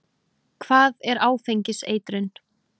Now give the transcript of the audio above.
Hvað er áfengiseitrun?